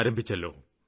ആരംഭിച്ചുവല്ലോ